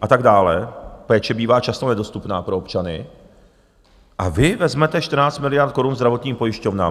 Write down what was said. a tak dále, péče bývá často nedostupná pro občany, a vy vezmete 14 miliard korun zdravotním pojišťovnám!